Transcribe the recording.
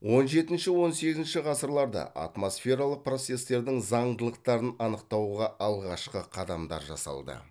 он жетінші он сегізінші ғасырларда атмосфералық процестердің заңдылықтарын анықтауға алғашқы қадамдар жасалды